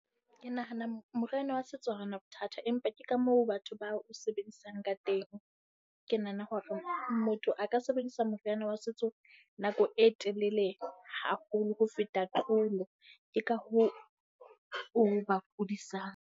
Ke nahana moriana wa setso ha o na bothata, empa ke ka moo batho ba o sebedisang ka teng. Ke nahana hore motho a ka sebedisa moriana wa setso nako e telele haholo ho feta tlolo. Ke ka hoo o ba kudisang.